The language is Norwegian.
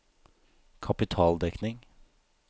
kapitaldekning